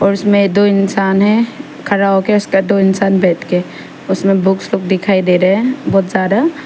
और इसमें दो इंसान हैं खड़ा होके दो इंसान बैठ के उसमें बुक्स लोग दिखाई दे रहे हैं बहुत सारा--